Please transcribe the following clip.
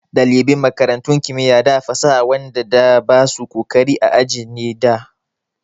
Ɗaliban makarantun kimiya da fasaha waɗan da basu ƙoƙari a aji ne da.